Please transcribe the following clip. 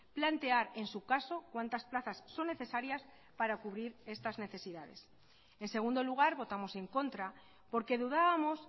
plantear en su caso cuantas plazas son necesarias para cubrir estas necesidades en segundo lugar votamos en contra porque dudábamos